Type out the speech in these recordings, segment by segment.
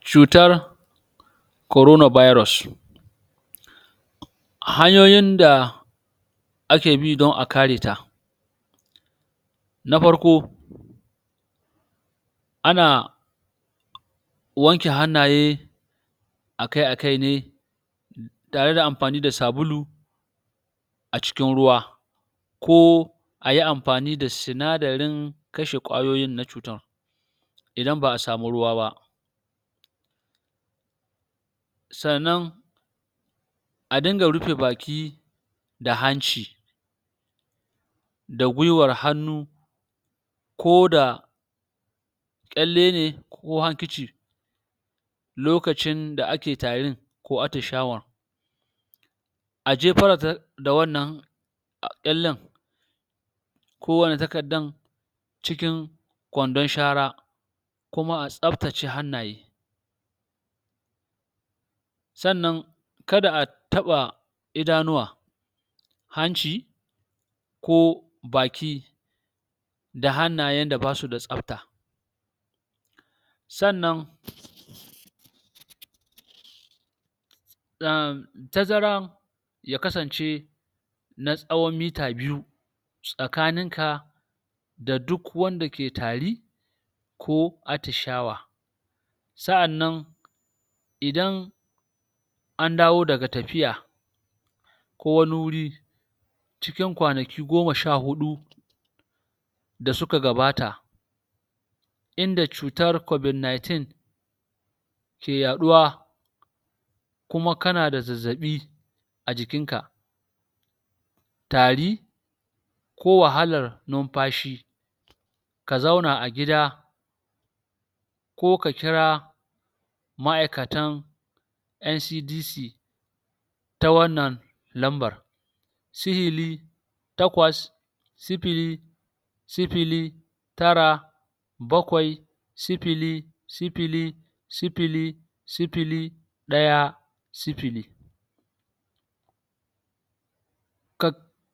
cutar corona birus hanyoyin da ake bi don a kare ta na farko ana wanke hannaye akai-akai ne tare da amfani da sabulu a cikin ruwa ko ayi amfani da sinadarin kashe kwayoyin na cutar idan ba'a samu ruwa ba sannan a dinga rufe baki da hanci da gwiwar hannu ko da kyale ne ko handkerchief lokacin da ake tarin ko attishawan a jefar da da wannan kyalen ko wannan takardan cikin kwandon shara kuma a tsaftace hannaye sannan kada a taɓa idanuwa hanci koh baki da hannayen da basu da tsafta sannan uhm tazaran ya kasance na tsawon mita biyu tsakanin ka da duk wanda ke tari ko attishawa sa'annan idan an dawo daga tafiya ko wani wuri cikin kwanaki goma sha huɗu da suka gabata inda cutar covid ninteen ke yaɗuwa kuma kana da zazaɓi a jikin ka tari ko wahalar numfashi ka zauna a gida ko ka kira ma'aikatan NCDC ta wannan lambar sifili takwas sifili sifili tara bakwai sifili sifili sifili sifili ɗaya sifili ka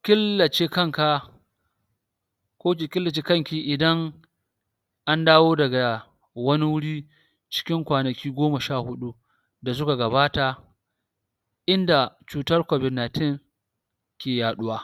kilace kanka ko ki kilace kanki idan an dawo daga wani wuri cikin kwanaki goma sha huɗu da suka gabata inda cutar covid ninteen ke yaɗuwa.